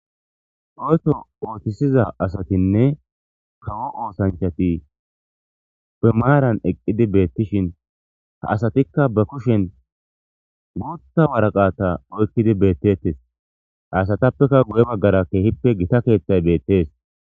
Oyto oothisiza asatinne kawo oosanchati be maaran eqqidi beettishin ha asatikka ba kushen guutta waraqata oykkidi beettettes hasatappeka guye baggara keehippe gita keeththay beettees.